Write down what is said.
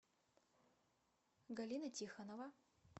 галина тихонова